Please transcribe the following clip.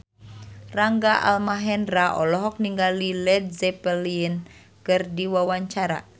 Rangga Almahendra olohok ningali Led Zeppelin keur diwawancara